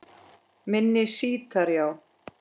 Minni sítar, já